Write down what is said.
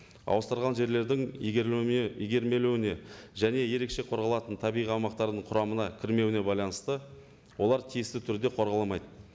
ауыстырылған жерлердің және ерекше қорғалатын табиғи аумақтардың құрамына кірмеуіне байланысты олар тиесілі түрде қорғаламайды